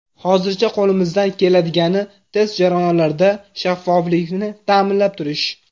Hozircha qo‘limizdan keladigani, test jarayonlarida shaffoflikni ta’minlab turish.